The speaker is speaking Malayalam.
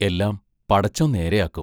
എല്ലാം പടച്ചോൻ നേരെ ആക്കും.